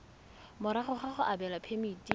morago ga go abelwa phemiti